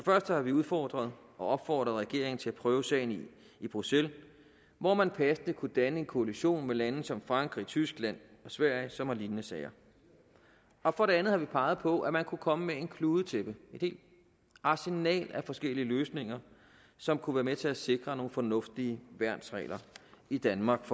første har vi udfordret og opfordret regeringen til at prøve sagen i bruxelles hvor man passende kunne danne en koalition med lande som frankrig tyskland og sverige som har lignende sager og for det andet har vi peget på at man kunne komme med et kludetæppe et helt arsenal af forskellige løsninger som kunne være med til at sikre nogle fornuftige værnsregler i danmark